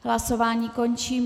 Hlasování končím.